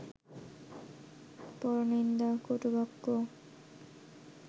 পরনিন্দা, কটুবাক্য